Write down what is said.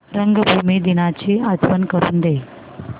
रंगभूमी दिनाची आठवण करून दे